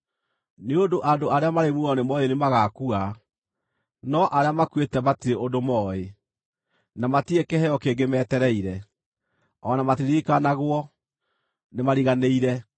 Nĩ ũndũ andũ arĩa marĩ muoyo nĩmooĩ nĩmagakua, no arĩa makuĩte matirĩ ũndũ mooĩ; na matirĩ kĩheo kĩngĩ metereire, o na matiririkanagwo, nĩmariganĩire.